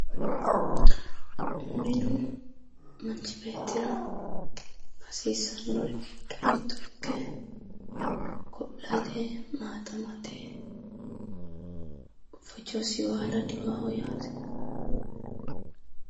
Minu manchi beettira hasiissannori giddo mitto ikke go'late, maaxamate fojosi baala diwaaho yaate.